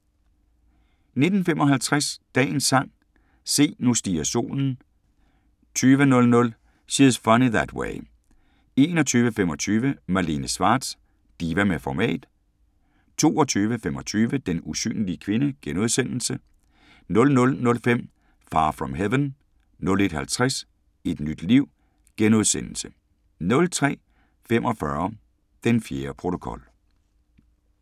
19:55: Dagens sang: Se, nu stiger solen * 20:00: She's Funny That Way 21:25: Malene Schwartz – diva med format 22:25: Den usynlige kvinde * 00:05: Far from Heaven 01:50: Et nyt liv * 03:45: Den fjerde protokol